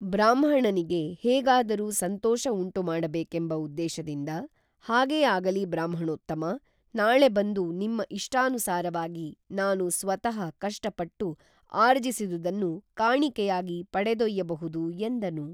ಬ್ರಾಹ್ಮಣನಿಗೇ ಹೇಗಾದರೂ ಸಂತೋಷ ಉಂಟುಮಾಡಬೇಕೇಂಬ ಉದ್ದೇಶದಿಂದ ಹಾಗೇ ಆಗಲಿ ಬ್ರಾಹ್ಮಣೋತ್ತಮಾ ನಾಳೆ ಬಂದು ನಿಮ್ಮ ಇಷ್ಟಾನುಸಾರವಾಗಿ ನಾನು ಸ್ವತಃ ಕಷ್ಟಪಟ್ಟು ಆರ್ಜಿಸಿದುದನ್ನು ಕಾಣಿಕೆಯಾಗಿ ಪಡೆದೊಯ್ಯಬಹುದು ಎಂದನು